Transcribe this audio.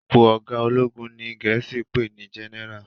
Ipò ọgá ológun ní òní gèésì pé ní general